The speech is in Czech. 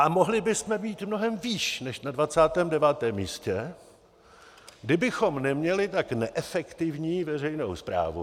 A mohli bychom být mnohem výš než na 29. místě, kdybychom neměli tak neefektivní veřejnou správu.